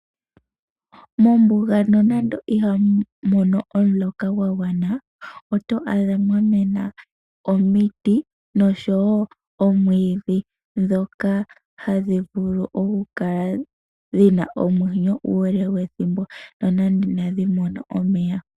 Mombuga nonando ihamu mono omuloka gwa gwana, to adha mwa mena omiti, noshowo omwiidhi dhoka hadhi kala dhina omwenyo uule wethimbo, nonando ihadhi mono omeya.